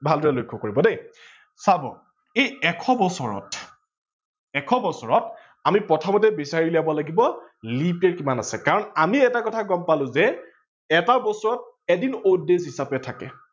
ভালদৰে লক্ষ্য কৰিব দেই, চাব এই এশ বছৰত, এশ বছৰত আমি প্ৰথমতে বিচাৰি উলিয়াব লাগিব leap year কিমান আছে কাৰন আমি এটা কথা গম পালো যে এটা বছৰত এদিন odd days হিচাপে থাকে।